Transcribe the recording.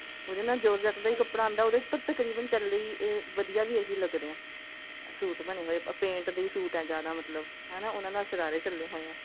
ਉਹਦੇ ਨਾਲ georgette ਦਾ ਹੀ ਕੱਪੜਾ ਆਉਂਦਾ ਉਹਦੇ ਉੱਪਰ ਤਕਰੀਬਨਚੱਲਦੇ ਹੀ ਵਧੀਆਂ ਵੀ ਇਹੀ ਲੱਗਦੇ ਨੇ suit ਬਣੇ ਹੋਏ paint ਦੇ suit ਹੈ ਜਿਆਦਾ ਮਤਲਬ ਹਨਾ ਉਹਨਾ ਨਾਲ ਸ਼ਰਾਰੇ ਚੱਲੇ ਹੋਏ ਐ